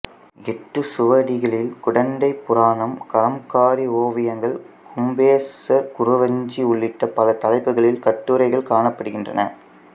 ஏட்டுச்சுவடிகளில் குடந்தைப்புராணம் கலம்காரி ஓவியங்கள் கும்பேசர் குறவஞ்சி உள்ளிட்ட பல தலைப்புகளில் கட்டுரைகள் காணப்படுகின்றன